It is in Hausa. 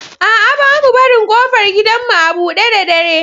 A'a, ba mu barin ƙofar gidanmu a buɗe da dare.